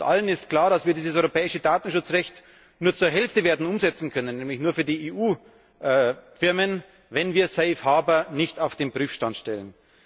Allen ist klar, dass wir dieses europäische Datenschutzrecht nur zur Hälfte werden umsetzen können, nämlich nur für die EU Firmen, wenn wir safe harbour nicht auf den Prüfstand stellen.